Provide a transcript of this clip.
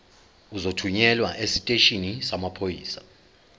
uzothunyelwa esiteshini samaphoyisa